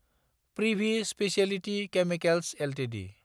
Privi speciality chemicals Ltd